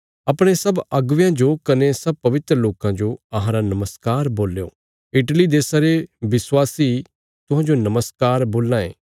अपणे सब अगुवेयां जो कने सब पवित्र लोकां जो अहांरा नमस्कार बोल्यों इटली देशा रे विश्वासी तुहांजो नमस्कार बोलां ये